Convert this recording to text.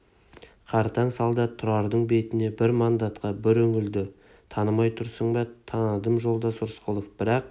қартаң солдат тұрардың бетіне бір мандатқа бір үңілді танымай тұрсың ба таныдым жолдас рысқұлов бірақ